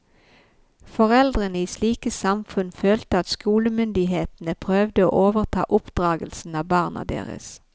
Foreldrene i slike samfunn følte at skolemyndighetene prøvde å overta oppdragelsen av barna deres.